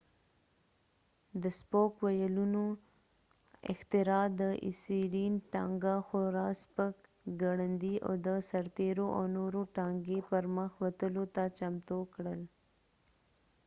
د سپوک ویلونو اختراع د اسيرين ټانګه خورا سپک ګړندي او د سرتیرو او نورو ټانګي پرمخ وتلو ته چمتو کړل